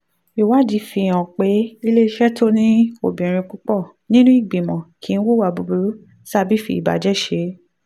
ìwádìí fi hàn pé iléeṣẹ́ tó ní obìnrin púpọ̀ nínú ìgbìmọ̀ kì í hùwà búburú tàbí fi ìbàjẹ́ ṣe.